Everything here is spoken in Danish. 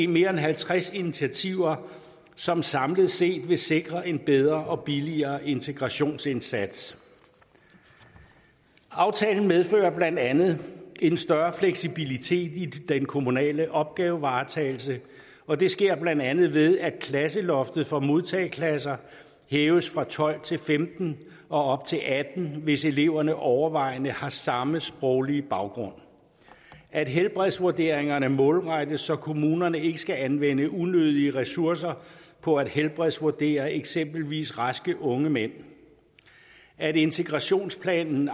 mere end halvtreds initiativer som samlet set vil sikre en bedre og billigere integrationsindsats aftalen medfører blandt andet en større fleksibilitet i den kommunale opgavevaretagelse og det sker blandt andet ved at klasseloftet for modtageklasser hæves fra tolv til femten og op til atten hvis eleverne overvejende har samme sproglige baggrund at helbredsvurderingerne målrettes så kommunerne ikke skal anvende unødige ressourcer på at helbredsvurdere eksempelvis raske unge mænd at integrationsplanen